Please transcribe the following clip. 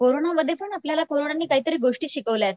कोरोनामध्ये पण आपल्याला पोरांनी काहीतरी गोष्टी शिकवल्यात